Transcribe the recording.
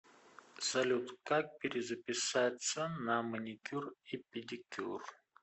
салют как перезаписаться на маникюр и педикюр